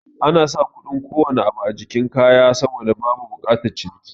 Anasa kuɗin kowane abu a jikin kayan saboda babu bukatar ciniki